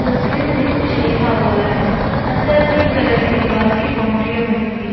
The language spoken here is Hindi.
संस्कृत में कुछ लिखा हुआ है। अंदर पिंक कलर की दीवार की बाउंड्रीया बनी हुई --